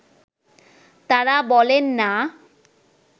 তাঁরা বলেন না